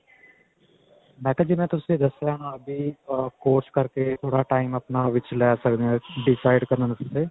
ਮੈਂ ਕਿਹਾ ਜਿਵੇਂ ਤੁਸੀਂ ਦੱਸੀਆ ਹੈ ਭੀ course ਕਰਕੇ ਥੋੜਾ time ਆਪਣਾ ਵਿੱਚ ਲੈ ਸਕਦੇ ਹਾਂ decide ਕਰਨ ਵਾਸਤੇ